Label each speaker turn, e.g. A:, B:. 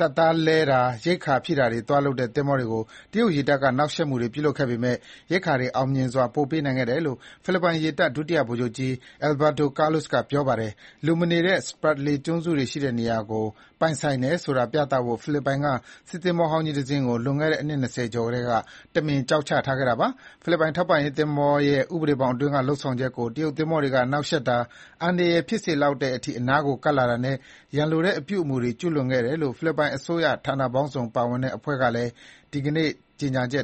A: တပ်သားလဲတာ ရိက္ခာဖြည့်တာသွားလုပ်တဲ့ သင်္ဘောတွေကို တရုတ်ရေတပ်က နှောက်ယှက်မှုတွေ ပြုလုပ်ခဲ့ပေမယ့် ရိက္ခာတွေ အောင်မြင်စွာ ပို့ပေးနိုင်ခဲ့တယ်လို့ ဖိလစ်ပိုင်ရေတပ် ဒုတိယဗိုလ်ချုပ်ကြီး Alberto Carlos က ပြောပါတယ်။ လူမနေတဲ့ Spratly ကျွန်းစုတွေရှိတဲ့ နေရာကို ပိုင်ဆိုင်တယ်ဆိုတာ ပြသဖို့ ဖိလစ်ပိုင်က စစ်သင်္ဘောဟောင်းကြီးတစင်းကို လွန်ခဲ့တဲ့ အနှစ် ၂၀ ကျော်ထဲက တမင် ကျောက်ချထားခဲ့တာ ဖြစ်ပါတယ်။ ဖိလစ်ပိုင် ထောက်ပံ့ရေးသင်္ဘောရဲ့ ဥပဒေဘောင်အတွင်းက လုပ်ဆောင်ချက်ကို တရုတ်သင်္ဘောတွေက နှောက်ယှက်တာ၊ အန္တရာယ် ဖြစ်စေလောက်တဲ့အထိ အနားကို ကပ်လာတာနဲ့ ရန်လိုတဲ့ အပြုအမူတွေကို ကျူးလွန်ခဲ့တယ်လို့ ဖိလစ်ပိုင် အစိုးရဌာနပေါင်းစုံပါဝင်တဲ့ အဖွဲ့က ဒီနေ့ထုတ်ပြန်တဲ့ ကြေညာချက်